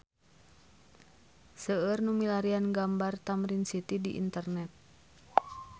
Seueur nu milarian gambar Tamrin City di internet